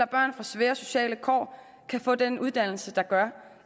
børn fra svære sociale kår kan få den uddannelse der gør